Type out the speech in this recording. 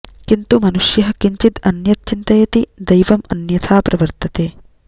किन्तु मनुष्यः किञ्चित् अन्यत् चिन्तयति दैवम् अन्यथा प्रवर्तते